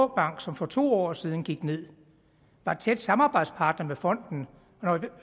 bank som for to år siden gik ned var en tæt samarbejdspartner med fonden og når